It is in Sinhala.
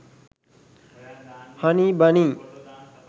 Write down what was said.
honey bunny